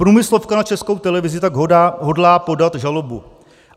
Průmyslovka na Českou televizi tak hodlá podat žalobu.